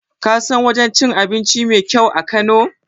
Ka san wajen cin abinci mai kyau a kano?